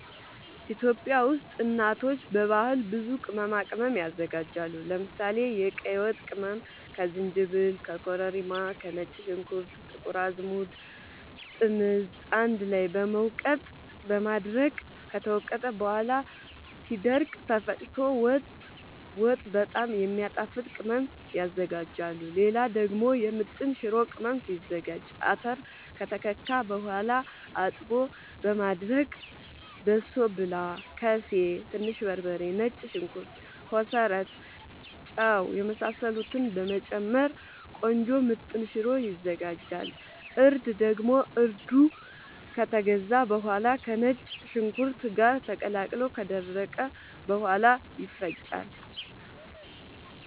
ኢትዮጵያ ውስጥ እናቶች በባህል ብዙ ቅመማ ቅመም ያዘጋጃሉ። ለምሳሌ፦ የቀይ ወጥ ቅመም ከዝንጅብል፣ ከኮረሪማ፣ ከነጭ ሽንኩርት፣ ጥቁር አዝሙድ፣ ጥምዝ አንድ ላይ በመውቀጥ በማድረቅ ከተወቀጠ በኋላ ሲደርቅ ተፈጭቶ ወጥ በጣም የሚያጣፋጥ ቅመም ያዝጋጃሉ። ሌላ ደግሞ የምጥን ሽሮ ቅመም ሲዘጋጅ :- አተር ከተከካ በኋላ አጥቦ በማድረቅ በሶብላ፣ ከሴ፣ ትንሽ በርበሬ፣ ነጭ ሽንኩርት፣ ኮሰረት፣ ጫው የመሳሰሉትን በመጨመር ቆንጆ ምጥን ሽሮ ይዘጋጃል። እርድ ደግሞ እርዱ ከተገዛ በኋላ ከነጭ ሽንኩርት ጋር ተቀላቅሎ ከደረቀ በኋላ ይፈጫል።